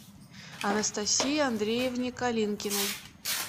анастасии андреевне калинкиной